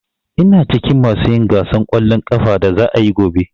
Ina cikin masu yin gasan ƙwallon ƙafan da za'a yi gobe.